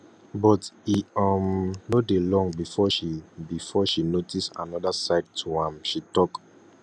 but e um no dey long before she before she notice anoda side to am she tok